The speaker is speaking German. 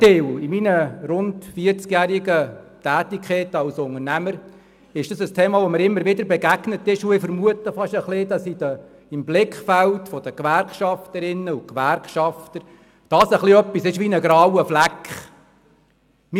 In meiner rund vierzigjährigen Tätigkeit als Unternehmer ist mir dieses Thema immer wieder begegnet, und ich vermute fast, dass dies im Blickfeld der Gewerkschafterinnen und Gewerkschafter ein wenig wie ein grauer Fleck ist: